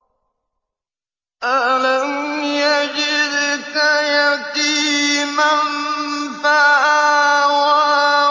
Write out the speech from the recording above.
أَلَمْ يَجِدْكَ يَتِيمًا فَآوَىٰ